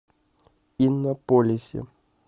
иннополисе